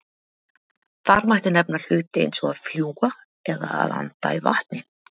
Þar mætti nefna hluti eins og að fljúga eða að anda í vatni.